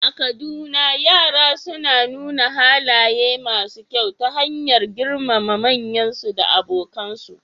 A Kaduna, yara suna nuna halaye masu kyau ta hanyar girmama manyansu da abokansu